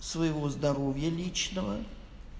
своего здоровья личного